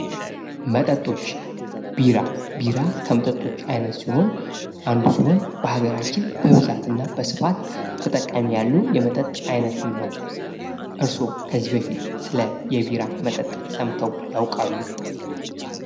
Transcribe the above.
መጠጦች ቢራ ቢራ ከመጠጦች አይነት ሲሆን አንዱ ሲሆን በሀገራችን በስፋትና በብዛት ተጠቃሚ ያለው የመጠጥ አይነት ነው። እርስዎ ከዚህ በፊት ስለ የቢራ መጠጥ ሰምተው ያውቃሉ?